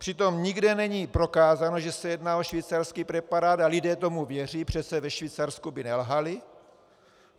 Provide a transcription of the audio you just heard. Přitom nikde není prokázáno, že se jedná o švýcarský preparát, a lidé tomu věří - přece ve Švýcarsku by nelhali.